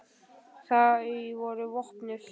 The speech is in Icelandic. Þau voru vopnuð.